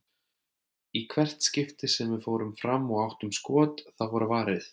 Í hvert skipti sem við fórum fram og áttum skot, þá var varið.